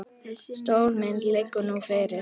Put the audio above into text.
Stóra myndin liggi nú fyrir.